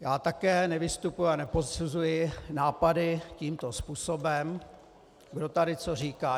Já také nevystupuji a neposuzuji nápady tímto způsobem, kdo tady co říká.